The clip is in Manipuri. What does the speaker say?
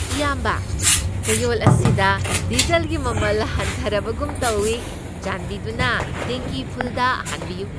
ꯏꯌꯥꯝꯕ, ꯆꯌꯣꯜ ꯑꯁꯤꯗ ꯗꯤꯖꯜꯒꯤ ꯃꯃꯜ ꯍꯟꯊꯔꯕꯒꯨꯝ ꯇꯧꯋꯤ꯫ ꯆꯥꯟꯕꯤꯗꯨꯅ ꯇꯦꯡꯀꯤ ꯐꯨꯜꯗ ꯍꯥꯟꯕꯤꯌꯨ꯫